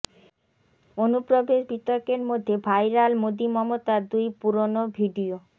অনুপ্রবেশ বিতর্কের মধ্যে ভাইরাল মোদী মমতার দুই পুরনো ভিডিয়ো